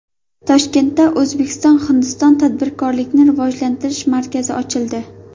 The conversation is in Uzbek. Toshkentda O‘zbekiston – Hindiston tadbirkorlikni rivojlantirish markazi ochildi.